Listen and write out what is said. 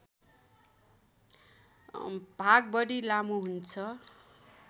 भाग बढी लामो हुन्छ